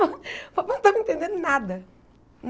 O papai não estava entendendo nada.